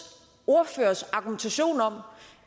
ordførers argumentation om